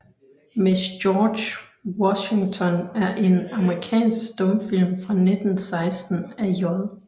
Miss George Washington er en amerikansk stumfilm fra 1916 af J